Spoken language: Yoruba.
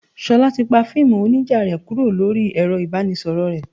Ṣolá ti pa fíìmù onija rẹ kúrò lórí ẹ̀rọ ibanisoro rẹ.